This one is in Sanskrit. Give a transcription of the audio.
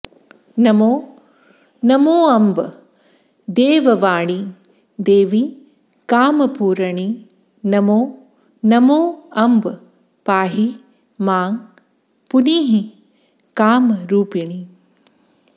नमो नमोऽम्ब देववाणि देवि कामपूरणि नमो नमोऽम्ब पाहि मां पुनीहि कामरूपिणि